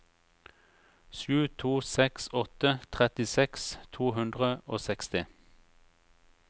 sju to seks åtte trettiseks to hundre og seksti